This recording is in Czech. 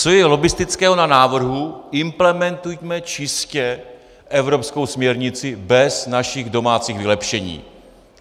Co je lobbistického na návrhu "implementujme čistě evropskou směrnici bez našich domácích vylepšení"?